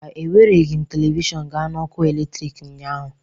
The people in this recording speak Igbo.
Mba, ewereghị m telivishọn gaa na ọkụ eletrik ụnyaahụ